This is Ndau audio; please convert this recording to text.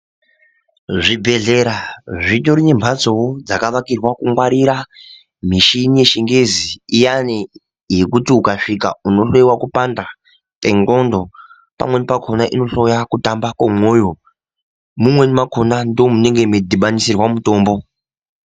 Zvi bhehlera zvitori ne mhatsowo dzakavakirwa ku ngwarira mishini ye chingezi iyani yekuti uka svika uno hloyiwa kupanda kwe ndxondo pamweni pakona ino hloya kutanda kwe mwoyo mumweni makona ndimwo munenge mei dhibaniswa mutombo.